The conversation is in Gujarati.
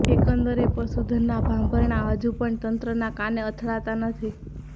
એકંદરે પશુધનના ભાંભરણા હજુ પણ તંત્રના કાને અથડાતા નથી